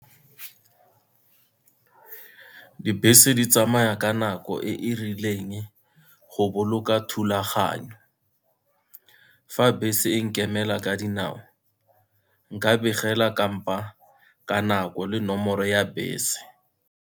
Dibese di tsamaya ka nako e e rileng, go boloka thulaganyo. Fa bese e nkemela ka dinao, nka begela kampa ka nako le nomoro ya bese.